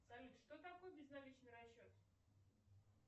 салют что такое безналичный расчет